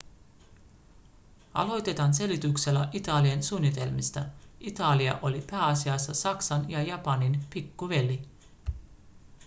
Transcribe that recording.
aloitetaan selityksellä italian suunnitelmista italia oli pääasiassa saksan ja japanin pikkuveli